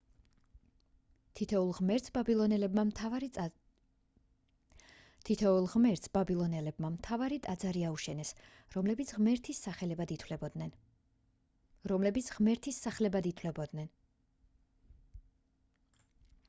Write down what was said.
თითოეულ ღმერთს ბაბილონელებმა მთავარი ტაძარი აუშენეს რომლებიც ღმერთის სახლებად ითვლებოდნენ